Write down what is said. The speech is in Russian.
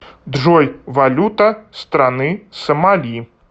джой валюта страны сомали